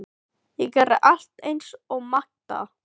Ég gerði allt eins og Magda.